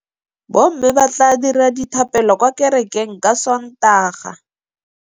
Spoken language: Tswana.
Bommê ba tla dira dithapêlô kwa kerekeng ka Sontaga.